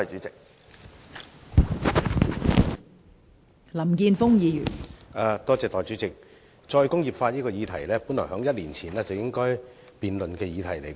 代理主席，這項有關"再工業化"的議案本來在一年前便應該辯論。